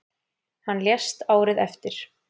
Hann lést árið eftir.